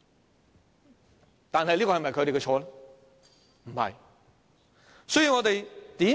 "，但這是否他們的錯呢？